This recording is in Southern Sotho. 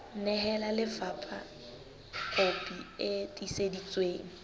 nehela lefapha kopi e tiiseditsweng